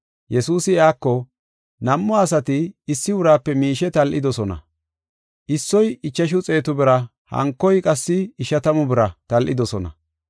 Yesuusi iyako, “Nam7u asati issi uraape miishe tal7idosona. Issoy ichashu xeetu bira hankoy qassi ishatamu bira tal7idosona.